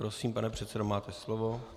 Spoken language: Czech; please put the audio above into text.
Prosím, pane předsedo, máte slovo.